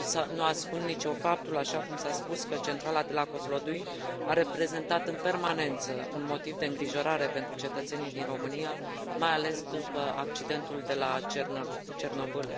Nu ascund nici eu faptul, așa cum s a spus, că centrala de la Kozlodui a reprezentat în permanență un motiv de îngrijorare pentru cetățenii din România, mai ales după accidentul de la Cernobîl.